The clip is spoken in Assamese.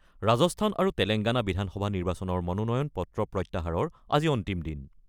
ৰাজস্থান আৰু তেলেংগানা বিধানসভা নিৰ্বাচনৰ মনোনয়ন পত্ৰ প্ৰত্যাহাৰৰ আজি অন্তিম দিন।